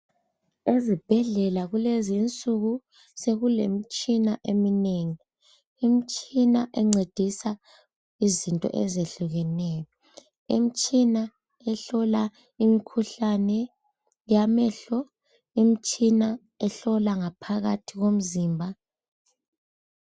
Ezibhedlela kulezinsuku sekulemitshina eminengi. Imitshina encedisa izinto ezehlukeneyo. Imitshina ehlola imikhuhlane yamehlo. Imitshina ehlola ngaphakathi komzimba.